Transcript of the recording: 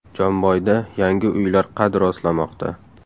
Jomboyda yangi uylar qad rostlamoqda.